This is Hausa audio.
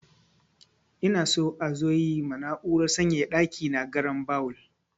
Ina so a zo yi ma na'urar sanyaya ɗaki na garinbawul.